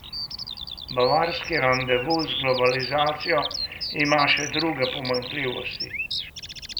Bavarski randevu z globalizacijo ima še druge pomanjkljivosti.